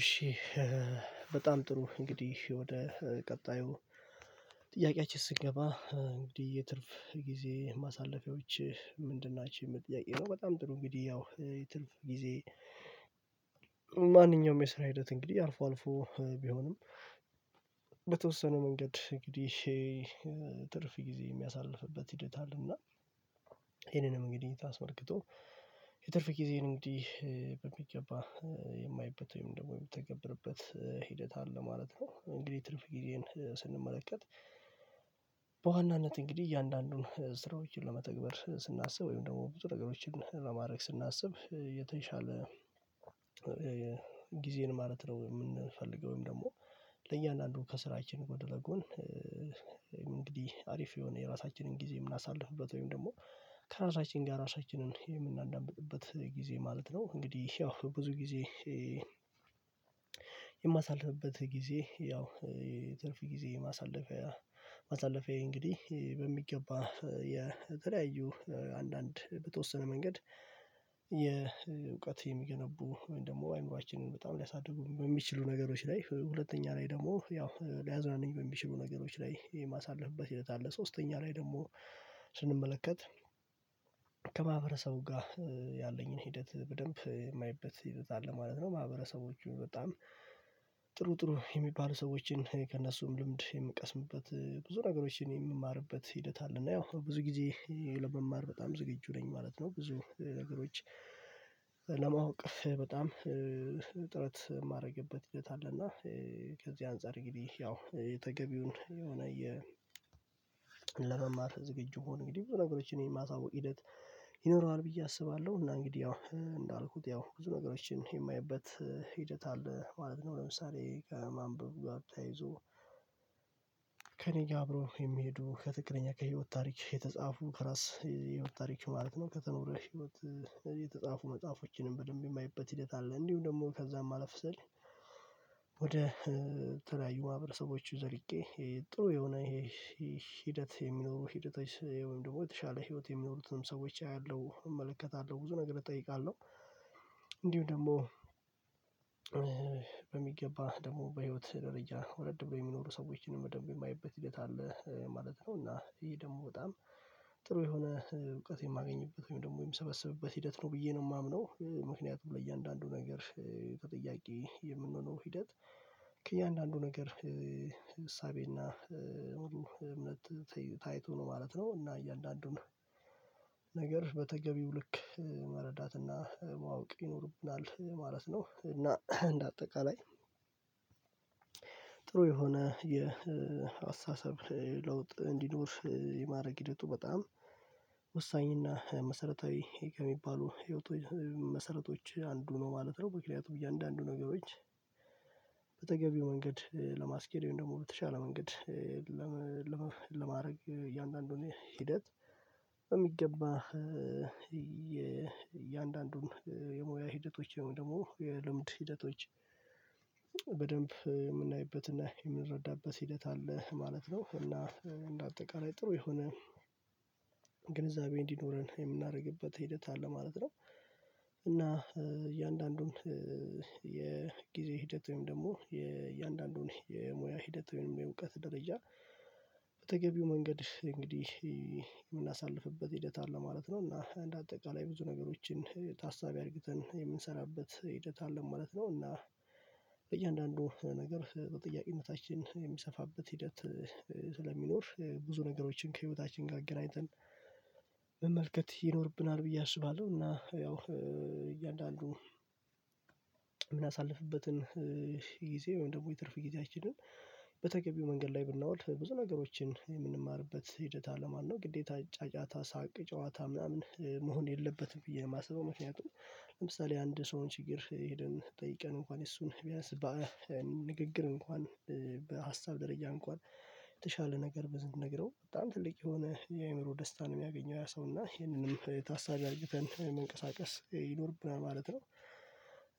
እሺ በጣም ጥሩ እንግዲህ ወደ ቀጣዩ ጥያቄያችን ስንገባ እንግዲህ የትርፍ ጊዜ ማሳለፊያዎች ምንድን ናችሁ። የምል ጥያቄ ነው በጣም ጥሩ እንግዲህ ያው የትርፍ ጊዜ ማንኛውም የስራ ሂደት እንግዲህ አልፎ አልፎ ቢሆንም በተወሰነ መንገድ እንግዲህ ትርፍ ጊዜ የሚያሳልፍበት ሂደት አለና ይሄንን እንግዲህ ታስመልክቶ የትርፍ ጊዜን እንግዲህ በሚገባ የማይበት ወይም ደግሞ የምትተገብርበት ሂደት አለ ማለት ነው። እንግዲህ ትርፍ ጊዜን ስንመለከት በዋናነት እንግዲህ እያንዳንዱን ስራዎችን ለመተግበር ስናስብ ወይም ደግሞ ብዙ ነገሮችን ለማድረግ ስናስብ የተሻለ ጊዜን ማለት ነው የምንፈልገው ወይም ደግሞ ለእያንዳንዱ ከስራችን ጎን ለ ጎን እንግዲህ አሪፍ የሆነ የራሳችንን ጊዜ የምናሳልፍበት ወይም ደግሞ ከራሳችን ጋር ራሳችንን የምናዳምጥበት ጊዜ ማለት ነው እንግዲህ ያው ብዙ ጊዜ የማሳልፍበት ጊዜ ያው የትርፍ ጊዜ ማሳለፊያ ማሳለፊያ እንግዲህ በሚገባ የተለያዩ አንዳንድ በተወሰነ መንገድ የእውቀት የሚገነቡ ወይም ደግሞ አይምሮአችንን በጣም ሊያሳድጉ በሚችሉ ነገሮች ላይ ሁለተኛ ላይ ደግሞ ያው ሊያዝናንኝ በሚችሉ ነገሮች ላይ የማሳልፍበት ሂደት አለ። ሶስተኛ ላይ ደግሞ ስንመለከት ከማህበረሰቡ ጋር ያለኝን ሂደት በደንብ የማይበት ሂደት አለ ማለት ነው ማህበረሰቦቹ በጣም ጥሩ ጥሩ የሚባሉ ሰዎችን ከእነሱም ልምድ የምቀስምበት ብዙ ነገሮችን የሚማርበት ሂደት አለ እና ያው ብዙ ጊዜ ለመማር በጣም ዝግጁ ነኝ ማለት ነው ብዙ ነገሮች ለማወቅ በጣም ጥረት የማደርግበት ሂደት አለና ከዚህ አንፃር እንግዲህ ያው የተገቢውን የሆነ የ ለመማር ዝግጁ ሆኖ እንግዲህ ብዙ ነገሮችን የማሳውቅ ሂደት ይኖረዋል ብዬ አስባለሁ እና እንግዲህ ያው እንዳልኩት ያው ብዙ ነገሮችን የማየበት ሂደት አለ ማለት ነው። ለምሳሌ ከማንበብ ጋር ተያይዞ ከእኔ ጋር አብሮ የሚሄዱ ከትክክለኛ ከህይወት ታሪክ የተጻፉ ከራስ የህይወት ታሪክ ማለት ነው ከተኖረ ህይወት የተጻፉ መጽሐፎችንም በደንብ የማየበት ሂደት አለ እንዲሁ ደግሞ ከዛም አለፍ ሲል ወደ ተለያዩ ማህበረሰቦቹ ዘልቄ ጥሩ የሆነ ይሄ ሂደት የሚኖሩ ሂደቶች ወይም ደግሞ የተሻለ ህይወት የሚኖሩትንም ሰዎች አያለሁ እመለከታለሁ ብዙ ነገር እጠይቃለሁ እንዲው ደግሞ በሚገባ ደግሞ በህይወት ደረጃ ወረድ ብሎ የሚኖሩ ሰዎችን በደንብ የማየበት ሂደት አለ ማለት ነው። እና ይሄ ደግሞ በጣም ጥሩ የሆነ እውቀት የማገኝበት ወይም ደግሞ የምሰበስብበት ሂደት ነው ብዬ ነው የማምነው ምክንያቱም ለእያንዳንዱ ነገር ተጠያቂ የምንሆነው ሂደት ከእያንዳንዱ ነገር እሳቤና እምነት ታይቶ ነው ማለት ነው። እና እያንዳንዱን ነገር በተገቢው ልክ መረዳትና ማወቅ ይኖርብናል ማለት ነው። እና እንደ አጠቃላይ ጥሩ የሆነ የአስተሳሰብ ለውጥ እንዲኖር የማድረግ ሂደቱ በጣም ወሳኝ እና መሰረታዊ የሚባሉ መሰረቶች አንዱ ነው ማለት ነው። ምክንያቱም እያንዳንዱ ነገሮች በተገቢው መንገድ ለማስኬድ ወይም ደግሞ በተሻለ መንገድ ለማድረግ እያንዳንዱን ሂደት የሚገባ የእያንዳንዱን የሙያ ሂደቶች ደግሞ የልምድ ሂደቶች በደንብ የምናይበትና የምንረዳበት ሂደት አለ ማለት ነው። እና እንደ አጠቃላይ ጥሩ የሆነ ግንዛቤ እንዲኖረን የምናደርግበት ሂደት አለ ማለት ነው እና እያንዳንዱን የጊዜ ሂደት ወይም ደግሞ የእያንዳንዱን የሙያ ሂደት ወይም የእውቀት ደረጃ በተገቢው መንገድ እንግዲህ የምናሳልፍበት ሂደት አለ ማለት ነው። እና እንደ አጠቃላይ ብዙ ነገሮችን ታሳቢ አርግተን የምንሰራበት ሂደት አለ ማለት ነው እና በእያንዳንዱ ነገር በጥያቄነታችን የሚሰፋበት ሂደት ስለሚኖር ብዙ ነገሮችን ከህይወታችን ጋር አገናኝተን መመልከት ይኖርብናል ብዬ አስባለሁ እና ያው እያንዳንዱ የምናሳልፍበትን ጊዜ ወይም ደግሞ የትርፍ ጊዜያችንን በተገቢው መንገድ ላይ ብናወልፍ ብዙ ነገሮችን የምንማርበት ሂደት አለማነው ግዴታ ጫጫታ ሳቅ ጨዋታ ምናምን መሆን የለበትም ብዬ የማስበው። ምክንያቱም ለምሳሌ አንድ ሰው ችግር ሄደን ጠይቀን እንኳን እሱን ቢያንስ በንግግር እንኳን በሀሳብ ደረጃ እንኳን የተሻለ ነገር ብዙ ነግረው በጣም ትልቅ የሆነ የአእምሮ ደስታ ነው። የሚያገኘው ያ ሰው እና ይሄንንም የታሳቢ አርግተን መንቀሳቀስ ይኖርብናል ማለት ነው።